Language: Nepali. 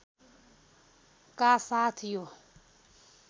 का साथ यो